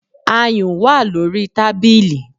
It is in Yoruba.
Ayùn wà lórí tábìlì